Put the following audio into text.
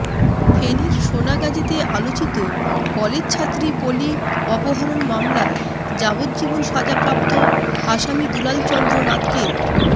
ফেনীর সোনাগাজীতে আলোচিত কলেজছাত্রী পলি অপহরণ মামলায় যাবজ্জীবন সাজাপ্রাপ্ত আসামি দুলাল চন্দ্র নাথকে